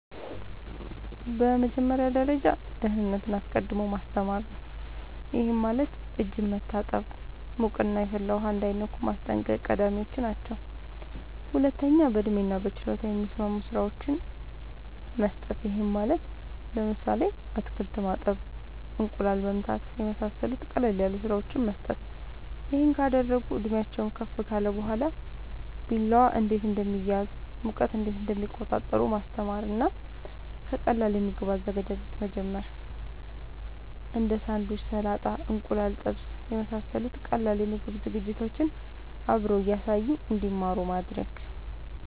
በመጀመሪያ ደረጃ ደህንነትን አስቀድሞ ማስተማር ነዉ ይሄም ማለት እጅን መታጠብ ሙቅና የፈላ ውሃ እንዳይነኩ ማስጠንቀቅ ቀዳሚወች ናቸው ሁለተኛ በእድሜና በችሎታ የሚስማሙ ስራወችን መስጠት ይሄም ማለት ለምሳሌ አትክልት ማጠብ እንቁላል መምታት የመሳሰሉት ቀለል ያሉ ስራወችን መስጠት ይሄን ካደረጉ እድሜአቸውም ከፍ ካለ በኋላ ቢላዋ እንዴት እንደሚያዝ ሙቀት እንዴት እንደሚቆጣጠሩ ማስተማር እና ከቀላል የምግብ አዘገጃጀት መጀመር እንዴ ሳንዱች ሰላጣ እንቁላል ጥብስ የመሳሰሉት ቀላል የምግብ ዝግጅቶችን አብሮ እያሳዩ እንድማሩ ማድረግ